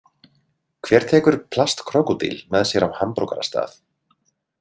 Hver tekur plastkrókódíl með sér á hamborgarastað?